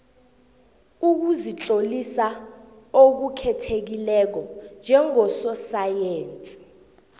ukuzitlolisa okukhethekileko njengososayensi